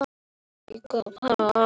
Menn koma, en aðrir fara.